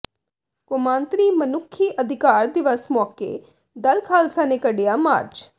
ਕੌਮਾਂਤਰੀ ਮਨੁੱਖੀ ਅਧਿਕਾਰ ਦਿਵਸ ਮੌਕੇ ਦਲ ਖਾਲਸਾ ਨੇ ਕੱਿਢਆ ਮਾਰਚ